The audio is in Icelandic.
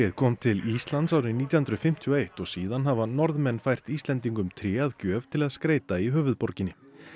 kom til Íslands árið nítján hundruð fimmtíu og eitt og síðan hafa Norðmenn fært Íslendingum tré að gjöf til að skreyta í höfuðborginni